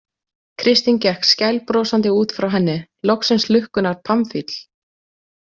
Kristín gekk skælbrosandi út frá henni, loksins lukkunnar pamfíll.